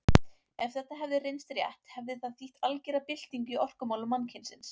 Ef þetta hefði reynst rétt hefði það þýtt algera byltingu í orkumálum mannkynsins.